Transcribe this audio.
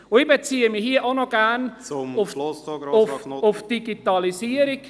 Und ich beziehe mich hier auch gerne auf …… auf die Digitalisierung.